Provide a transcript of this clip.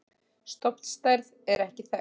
Stofnstærð er ekki þekkt.